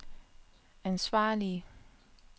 ansvarlige